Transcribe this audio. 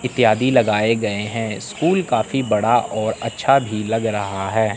इत्यादि लगाए गए हैं स्कूल काफी बड़ा और अच्छा भी लग रहा है।